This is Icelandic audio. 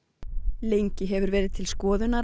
lengi hefur verið til skoðunar að